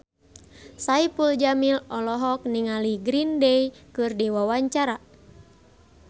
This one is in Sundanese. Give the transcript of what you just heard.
Saipul Jamil olohok ningali Green Day keur diwawancara